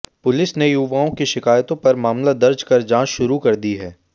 police ने युवाओं की शिकायतों पर मामला दर्ज कर जांच शुरू कर दी है